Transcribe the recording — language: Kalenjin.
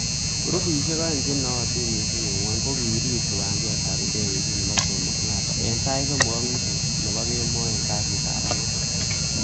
Grupisiek oeng che nootin missing en Gwony ko korib kiwanjetab indegeisiek nebo Jomo kenyatta en sait somok ak nusu nebo kemo en kasitab Ang'wan.